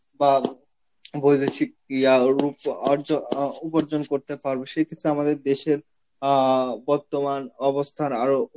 বা বৈদেশিক ইয়ারূপ অর্জ~ অ উপার্জন করতে পারব, সেই ক্ষেত্রে আমাদের দেশের আ বর্তমান অবস্থার আরো